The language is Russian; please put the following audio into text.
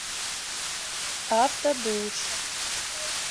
автодуш